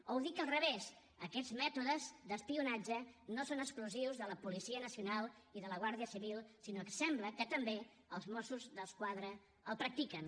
o ho dic al revés aquests mètodes d’espionatge no són exclusius de la policia nacional i de la guàrdia civil sinó que sembla que també els mossos d’esquadra els practiquen